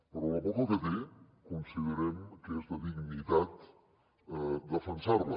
però la poca que té considerem que és de dignitat defensar la